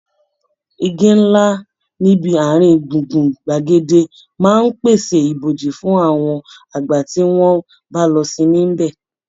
Igi ńlá níbi àárín gbùngbùn gbàgede máa ń pèsè ìbòji fún àwọn àgbà tí wọ́n bá lọ sinmi níbẹ̀